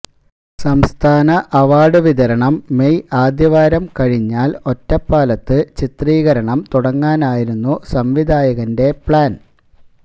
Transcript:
സംസ്ഥാന അവാര്ഡ് വിതരണം മേയ് ആദ്യവാരം കഴിഞ്ഞാല് ഒറ്റപ്പാലത്ത് ചിത്രീകരണം തുടങ്ങാനായിരുന്നു സംവിധായകന്റെ പഌന്